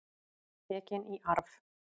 Tekin í arf.